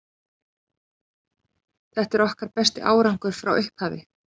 Þetta er okkar besti árangur frá upphafi.